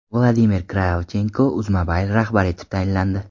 Vladimir Kravchenko UzMobile rahbari etib tayinlandi.